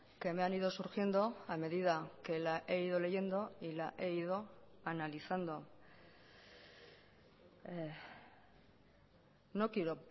que me han ido surgiendo a medida que la he ido leyendo y la he ido analizando no quiero